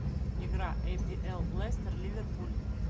игра апл лестер ливерпуль